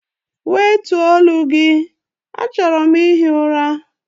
Wètuọ̀ olu gị, achọrọ m ihi ụra!